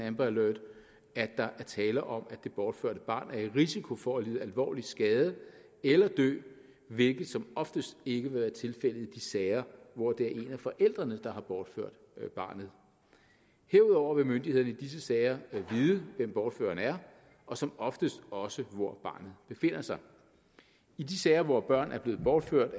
amber alert at der er tale om at det bortførte barn er i risiko for at lide alvorlig skade eller dø hvilket som oftest ikke vil være tilfældet i de sager hvor det er en af forældrene der har bortført barnet herudover vil myndighederne i disse sager vide hvem bortføreren er og som oftest også hvor befinder sig i de sager hvor børn er blevet bortført